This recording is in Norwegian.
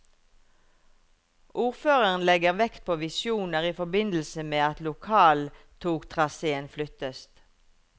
Ordføreren legger vekt på visjoner i forbindelse med at lokaltogtraséen flyttes.